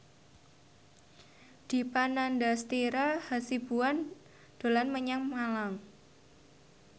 Dipa Nandastyra Hasibuan dolan menyang Malang